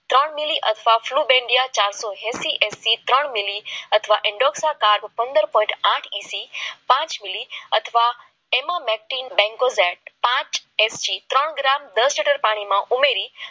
ત્રણ મેરી આઠમાં બ્લુ હેલ્ધી એસટી તીન મેરી અથવા પંદર પોઈન્ટ એસી પાંચ મિનિટ અથવા એમાં બેક્ટિંગ ત્રણ દસ લીટર પાણીમાં ઉમેરી